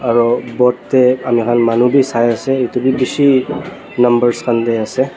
aro boat dae ami khan manu bi sai asae etu bi bishi numbers khan dae asae.